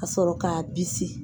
Ka sɔrɔ k'a bisi.